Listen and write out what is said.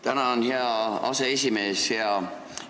Tänan, hea aseesimees!